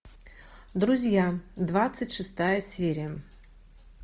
друзья двадцать шестая серия